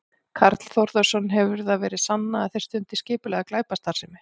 Karl Þórðarson: Hefur það verið sannað að þeir stundi skipulagða glæpastarfsemi?